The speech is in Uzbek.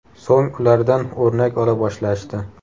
So‘ng ulardan o‘rnak ola boshlashdi.